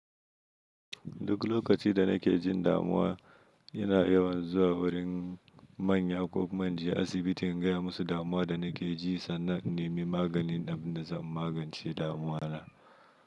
Duk lokacin da nake jin damuwa, yana yawan zuwa wurin manya ko ma inje asibiti in gaya musu damuwa da nake ji, sannan in nemi maganin da zai magance damuwa na.